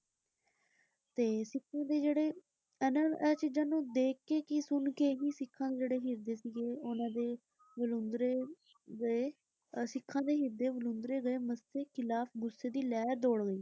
ਤੇ ਸਿੱਖਾਂ ਦੇ ਜਿਹੜੇ ਇਹ ਚੀਜਾਂ ਨੂੰ ਦੇਖਕੇ ਕੀ ਸੁਣਕੇ ਵੀ ਸਿੱਖਾਂ ਦੇ ਜਿਹੜੇ ਹਿਰਦੇ ਸੀਗੇ ਉਹਨਾਂ ਦੇ ਵਲੂੰਧਰੇ ਗਏ ਅਹ ਸਿੱਖਾਂ ਦੇ ਹਿਰਦੇ ਵਲੂੰਧਰੇ ਗਏ। ਮੱਸੇ ਖਿਲਾਫ ਗੁੱਸੇ ਦੀ ਲਹਿਰ ਦੌੜ ਗਈ।